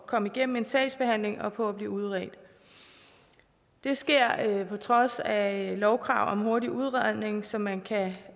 komme igennem en sagsbehandling og på at blive udredt det sker på trods af lovkrav om hurtig udredning som man kan